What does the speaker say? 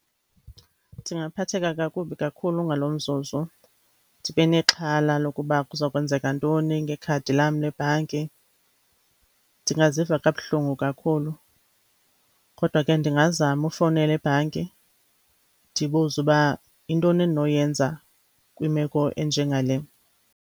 Ndingaphatheka kakubi kakhulu ngalo mzuzu. Ndibe nexhala lokuba kuza kwenzeka ntoni ngekhadi lam lebhanki, ndingaziva kabuhlungu kakhulu. Kodwa ke ndingazama ufowunela ebhanki ndibuze uba yintoni endinoyenza kwimeko enjengale.